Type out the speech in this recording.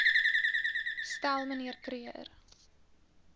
stel mnr kruger